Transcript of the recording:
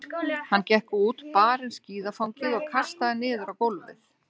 Hann gekk út, bar inn skíðafangið og kastaði niður á gólfið.